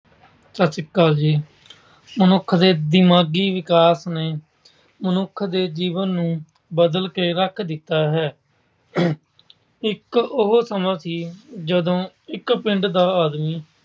ਸਤਿ ਸ੍ਰੀ ਅਕਾਲ ਜੀ। ਮਨੁੱਖ ਦੇ ਦਿਮਾਗੀ ਵਿਕਾਸ ਨੇ ਮਨੁੱਖ ਦੇ ਜੀਵਨ ਨੂੰ ਬਦਲ ਕੇ ਰੱਖ ਦਿੱਤਾ ਹੈ। ਇੱਕ ਉਹ ਸਮਾਂ ਸੀ ਜਦੋਂ ਇੱਕ ਪਿੰਡ ਦਾ ਆਦਮੀ